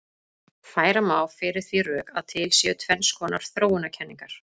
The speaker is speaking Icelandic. Færa má fyrir því rök að til séu tvenns konar þróunarkenningar.